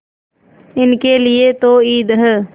इनके लिए तो ईद है